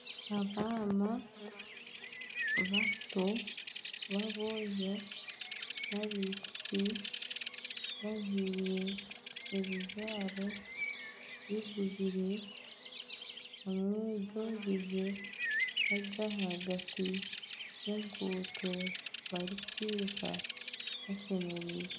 Abaana bato b'abojo n'abaishiki bajwaire ebijwaro bigubire hamwe n'ebyogize bari ahagati y'enguuto barikwiruka bashemereirwe.